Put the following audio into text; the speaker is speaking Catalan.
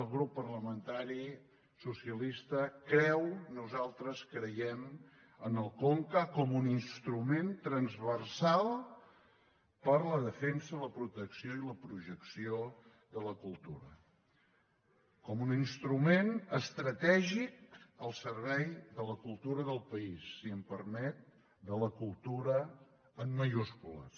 el grup parlamentari socialista creu nosaltres creiem en el conca com un instrument transversal per a la defensa la protecció i la projecció de la cultura com un instrument estratègic al servei de la cultura del país si em permet de la cultura en majúscules